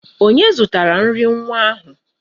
Onye zụtara nri nwa ahụ?